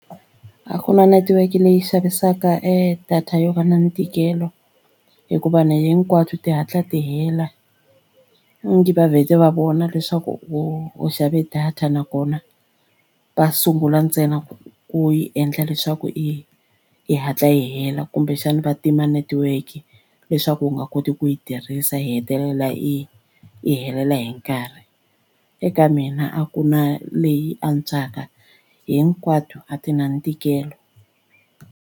A ku na netiweke leyi xavisaka e data yo va na ntikelo hikuva nI hinkwabyo ti hatla ti hela i ngi va vhete va vona leswaku wo u xave data nakona va sungula ntsena ku ku yi endla leswaku i yi hatla yi hela kumbexani va tima netiweke leswaku u nga koti ku yi tirhisa yi hetelela yi yi helela hi nkarhi. Eka mina a ku na leyi antswaka hinkwato a ti na ntikelo.